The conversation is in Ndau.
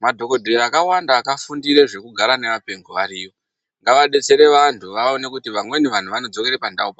Madhokodheya akawanda akafundire zvekugara nevapengo ariyo ngavabetsere vantu vaone kuti vamweni vanhu vakodzokere pandau pavo.